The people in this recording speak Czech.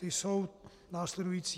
Ty jsou následující: